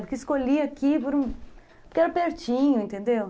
Porque escolhi aqui porque era pertinho, entendeu?